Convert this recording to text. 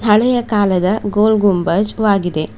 ಹಳೆಯ ಕಾಲದ ಗೋಲ್ ಗುಂಬಜ್ ವಾಗಿದೆ.